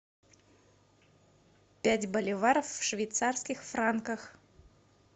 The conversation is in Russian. пять боливаров в швейцарских франках